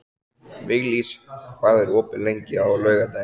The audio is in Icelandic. Viglís, hvað er opið lengi á laugardaginn?